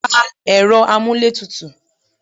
Pa Ẹ̀rọ amuletutu.